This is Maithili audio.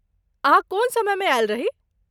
अहाँ कोन समयमे आयल रही?